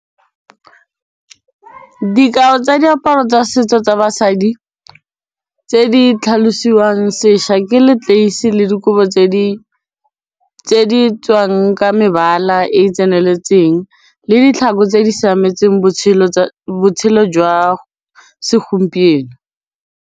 Dikao tsa diaparo tsa setso tsa basadi tse di tlhalosiwang sešwa ke leteisi le dikobo tse di tswang ka mebala e e tseneletseng le ditlhako tse di siametseng botshelo jwa segompieno.